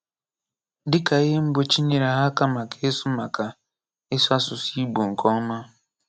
Dị́ka ihe mgbọ̀chí nyere ha maka ịsụ̀ maka ịsụ̀ asụ̀sụ́ Ìgbò nke ọma.